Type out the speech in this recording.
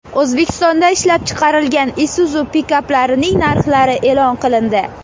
O‘zbekistonda ishlab chiqarilgan Isuzu pikaplarining narxlari e’lon qilindi.